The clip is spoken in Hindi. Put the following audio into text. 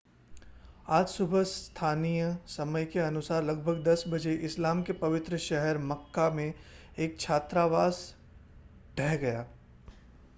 आज सुबह स्थानीय समय के अनुसार लगभग 10 बजे इस्लाम के पवित्र शहर मक्का में एक छात्रावास ढह गया